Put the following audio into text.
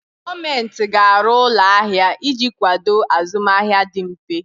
Gọọmenti ga-arụ ụlọ ahịa iji kwado azụmahịa dị mfe.